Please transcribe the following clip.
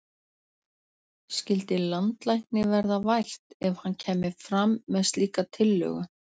Skyldi landlækni verða vært ef hann kæmi fram með slíka tillögu?